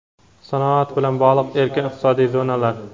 sanoat bilan bog‘liq erkin iqtisodiy zonalar.